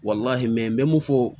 n bɛ mun fɔ